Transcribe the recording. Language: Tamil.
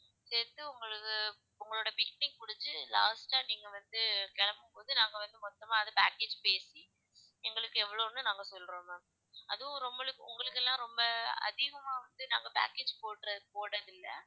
சேர்த்து உங்களுது உங்களுடைய visiting முடிஞ்சு last ஆ நீங்க வந்து கிளம்பும்போது நாங்க வந்து மொத்தமாக அது package பேசி எங்களுக்கு எவ்வளவுனு நாங்க சொல்றோம் ma'am அதுவும் ரொம்ப~ உங்களுக்கெல்லாம் ரொம்ப அதிகமா வந்து நாங்க package போடற~ போடறதில்ல